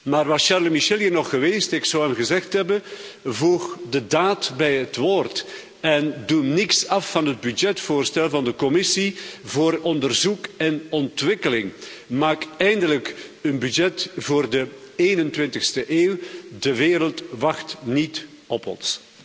Maar, was Charles Michel hier nog geweest, ik zou hem gezegd hebben voeg de daad bij het woord en doe niets af van het begrotingsvoorstel van de Commissie voor onderzoek en ontwikkeling. Maak eindelijk een begroting voor de 21e eeuw. De wereld wacht niet op ons.